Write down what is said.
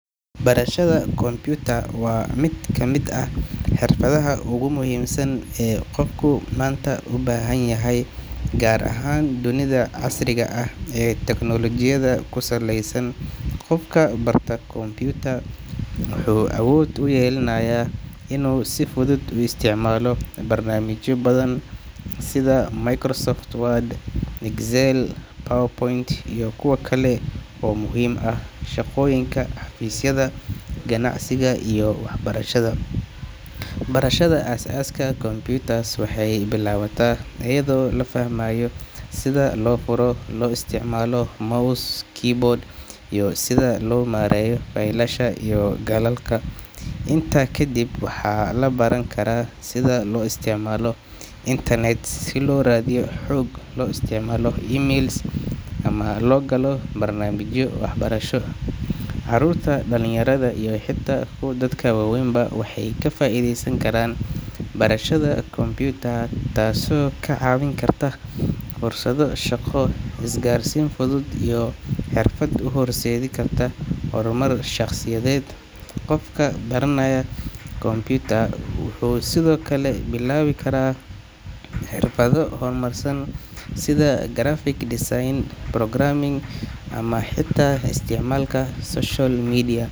Barashada computer waa mid ka mid ah xirfadaha ugu muhiimsan ee qofku maanta u baahan yahay, gaar ahaan dunida casriga ah ee teknooloojiyada ku saleysan. Qofka barta computer wuxuu awood u yeelanayaa inuu si fudud u isticmaalo barnaamijyo badan sida Microsoft Word, Excel, PowerPoint iyo kuwa kale oo muhiim u ah shaqooyinka xafiisyada, ganacsiga iyo waxbarashada. Barashada aasaaska computer waxay bilaabataa iyadoo la fahmayo sida loo furo, loo isticmaalo mouse, keyboard iyo sida loo maareeyo faylasha iyo galalka. Intaas kadib, waxaa la baran karaa sida loo isticmaalo internet si loo raadiyo xog, loo isticmaalo email, ama loo galo barnaamijyo waxbarasho. Carruurta, dhalinyarada iyo xitaa dadka waaweynba waxay ka faa’iidaysan karaan barashada computer, taasoo ka caawin karta fursado shaqo, isgaarsiin fudud, iyo xirfad u horseedi karta horumar shaqsiyadeed. Qofka baranaya computer wuxuu sidoo kale bilaabi karaa xirfado horumarsan sida graphic design, programming, ama xitaa isticmaalka social media.